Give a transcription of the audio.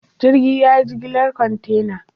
Jirgin ya yi jigilar kwantena.